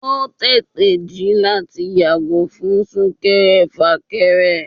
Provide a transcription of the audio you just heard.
o tèté jí láti yàgò fún súnkèré-fákérè